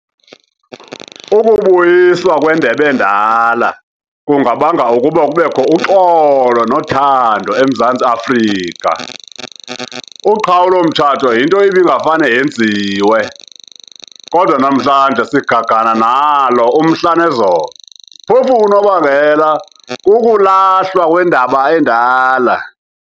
Ukubuyiswa kweNDEB'ENDALA kungabanga ukuba kubekho uxolo nothando eMzantai Afrika.Uqhawulo mtshato yinto ibingafane yenziwe, kodwa namhlanje sigagana nalo umhla nezolo phofu unobangela kukulahlwa kwendab'endala.